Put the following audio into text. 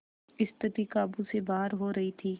स्थिति काबू से बाहर हो रही थी